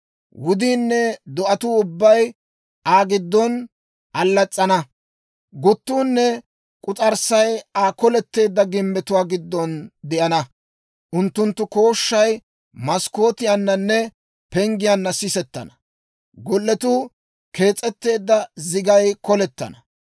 Wudiinne do'atuu ubbay Aa giddon allas's'ana; guttuunne k'us'arssay Aa koletteedda gimbbetuwaa giddon de'ana; unttunttu kooshshay maskkootiyaananne penggiyaanna sisettana. Golletuu kees'etteedda zigay kallottana.